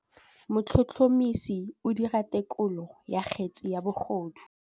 Motlhotlhomisi o dira têkolô ya kgetse ya bogodu.